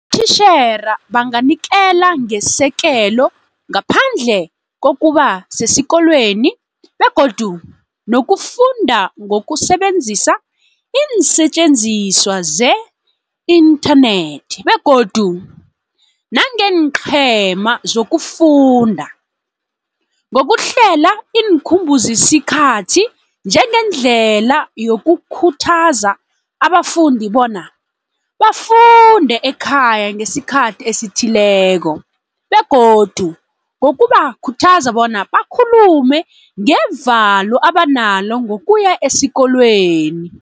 Abotitjhere banganikela ngesekelo ngaphandle kokuba sesikolweni begodu nokufunda ngokusebenzisa iinsetjenziswa ze-inthanethi begodu nangeenqhema zokufunda, ngokuhlela iinkhumbuzisikhathi njengendlela yokukhuthaza abafundi bona bafunde ekhaya ngesikhathi esithileko, begodu ngokubakhuthaza bona bakhulume ngevalo abanalo ngokuya esikolweni.